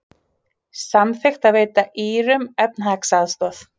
Samþykkt að veita Írum efnahagsaðstoð